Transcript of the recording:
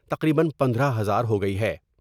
تقریبا پندرہ ہزار ہوگئی ہے ۔